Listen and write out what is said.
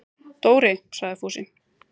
Dóri! sagði Fúsi.